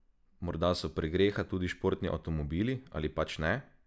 Morda so pregreha tudi športni avtomobili, ali pač ne?